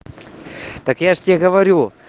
так я же тебе говорю